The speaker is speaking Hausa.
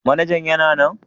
Manajan yana nan?